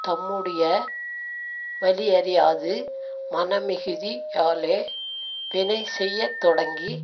தம்முடைய வலியறியாது மனமிகுதி யாலே வினை செய்ய தொடங்கி